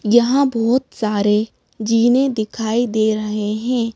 यहाँ बहुत सारे जीने दिखाई दे रहे हैं।